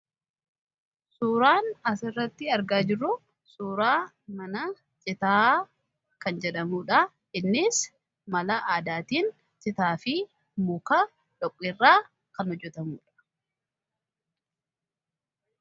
suuraan asirratti argaa jiru suuraa mana citaa kan jedhamudha innis mala aadaatiin citaa fi muka dhoprraa kan hojjetamudha